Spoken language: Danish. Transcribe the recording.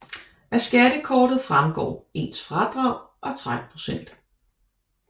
Af skattekortet fremgår ens fradrag og trækprocent